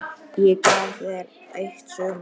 Ég gaf þér eitt sumar.